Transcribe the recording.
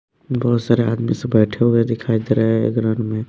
बहोत सारे आदमी सब बैठे हुए दिखाई दे रहे हैं ग्राउंड में--